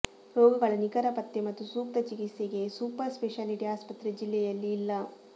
ರೋಗಗಳ ನಿಖರ ಪತ್ತೆ ಮತ್ತು ಸೂಕ್ತ ಚಿಕಿತ್ಸೆಗೆ ಸೂಪರ್ ಸ್ಪೆಶಾಲಿಟಿ ಆಸ್ಪತ್ರೆ ಜಿಲ್ಲೆಯಲ್ಲಿ ಇಲ್ಲ